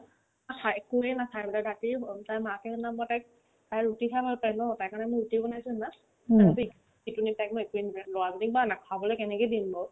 চা একোয়ে নাখাই বোলে ৰাতি অ তাইৰ মাকে না তাইক তাই ৰুটি খাই ভাল পাই ন তাইকাৰণে বোলে ৰুটিও বনাইছো এনেকুৱা এইকেইদিন তাইক মই একোয়ে নাৰা বুলি ইমান নাখাবলে কেনেকে দিম বাৰু